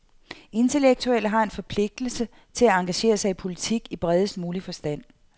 Intellektuelle har en forpligtelse til at engagere sig i politik i bredest mulig forstand.